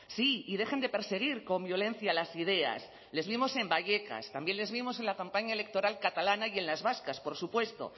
sí y dejen de perseguir con violencia las ideas les vimos en vallecas también les vimos en la campaña electoral catalana y en las vascas por supuesto